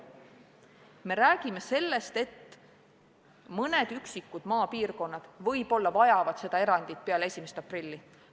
Me räägime sellest, et mõned üksikud maapiirkonnad võib-olla vajavad seda erandit peale 1. aprilli.